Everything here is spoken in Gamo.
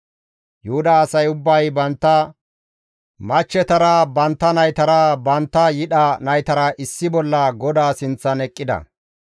Yuhuda asay ubbay bantta machchetara, bantta naytara, bantta yidha naytara issi bolla GODAA sinththan eqqida.